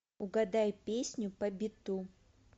угадай песню по биту